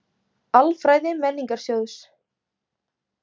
Alfræði Menningarsjóðs.